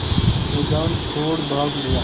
मैदान छोड़ भाग लिया